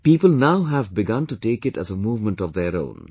People now have begun to take it as a movement of their own